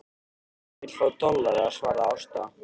Eigandinn vill fá dollara, svaraði Ásta.